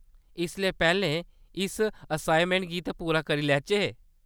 इसलै पैह्‌लें , इस असाइनमैंट गी ते पूरा करी लैचै।